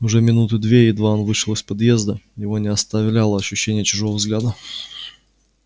уже минуты две едва он вышел из поезда его не оставляло ощущение чужого взгляда